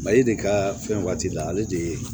Mali de ka fɛn waati la ale de ye